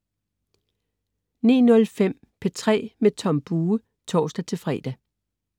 09.05 P3 med Tom Bue (tors-fre)